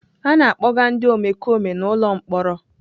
A na-akpọga ndị omekome n'ụlọ mkpọrọ.